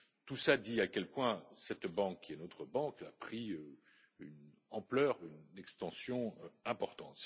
Tout cela dit à quel point cette banque, qui est notre banque, a pris une ampleur, une extension importante.